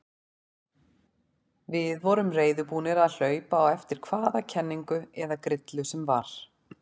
Við vorum reiðubúnir að hlaupa á eftir hvaða kenningu eða grillu sem var.